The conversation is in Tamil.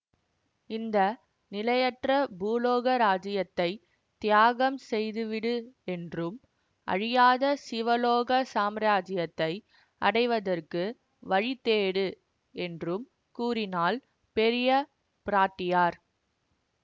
இந்த நிலையற்ற பூலோக இராஜ்யத்தை தியாகம் செய்துவிடு என்றும் அழியாத சிவலோக சாம்ராஜ்யத்தை அடைவதற்கு வழி தேடு என்றும் கூறினாள் பெரிய பிராட்டியார்